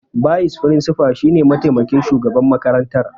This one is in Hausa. Bayis firinsifal shine mataimakin shugaban makarantar.